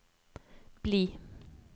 bli